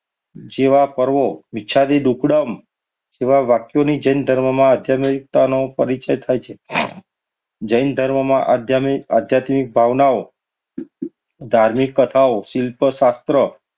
જેવા પર્વ મિચ્છામિ દુક્કડમ એવા વાક્યોની જૈન ધર્મમાં આધ્યાત્મિકતાનો પરિચય થાય છે. જૈન ધર્મમાં આધ્યા~આધ્યાત્મિક ભાવનાઓ, ધાર્મિક કથાઓ, શિલ્પ શાસ્ત્ર,